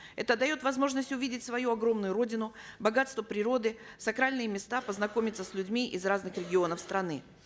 это дает возможность увидеть свою огромную родину богатство природы сакральные места познакомиться с людьми из разных регионов страны